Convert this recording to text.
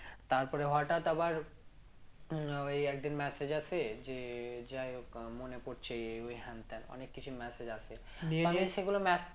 তারপরে হঠাৎ আবার ও একদিন message আসে যে যাইহোক আহ মনে পরছে ওই হ্যান ত্যান অনেক কিছু message আসে নিয়ে নিয়ে তুই কি করলি তারপর? কি বললি?